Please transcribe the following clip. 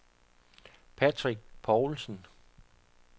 Patrick Povlsen